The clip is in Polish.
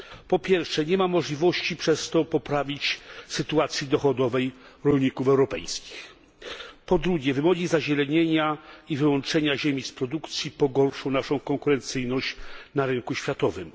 Po pierwsze, nie ma przez to możliwości, by poprawić sytuację dochodową rolników europejskich. Po drugie, wymogi zazielenienia i wyłączenia ziemi z produkcji pogorszą naszą konkurencyjność na rynku światowym.